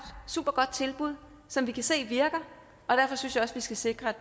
supergodt tilbud som vi kan se virker og derfor synes jeg også vi skal sikre